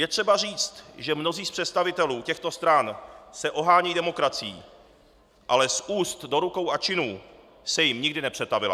Je třeba říct, že mnozí z představitelů těchto stran se ohánějí demokracií, ale z úst do rukou a činů se jim nikdy nepřetavila.